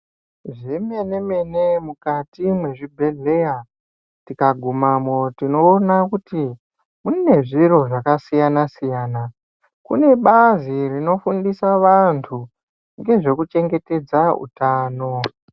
Zvemenemene mukati mwezvibhedhleya tikagumamo tinoona kuti mune zviro zvakasiyanasiyana. Kune bazi rinofundisa vantu nezvekuchengetedza utano.